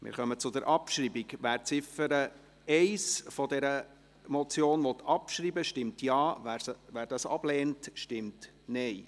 Wer die Ziffer 1 der Motion abschreiben will, stimmt Ja, wer dies ablehnt, stimmt Nein.